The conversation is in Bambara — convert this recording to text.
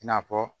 I n'a fɔ